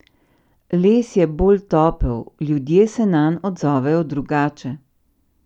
Les je bolj topel, ljudje se nanj odzovejo drugače.